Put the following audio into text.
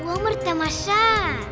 өмір тамаша